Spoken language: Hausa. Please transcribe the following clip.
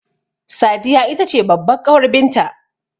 Sadiya itace babbar ƙawar binta